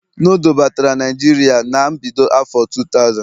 noodle batara Naijiria na mbido afo 2000